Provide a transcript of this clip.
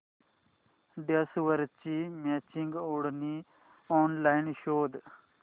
ड्रेसवरची मॅचिंग ओढणी ऑनलाइन शोध